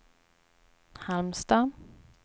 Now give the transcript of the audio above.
Halmstad